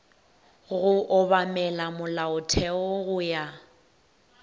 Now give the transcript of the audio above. go obamela molaotheo go ya